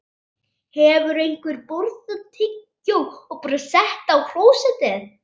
Sá skellur kom of seint.